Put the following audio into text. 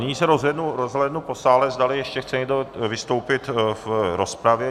Nyní se rozhlédnu po sále, zdali ještě chce někdo vystoupit v rozpravě.